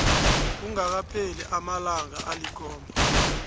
kungakapheli amalanga alikhomba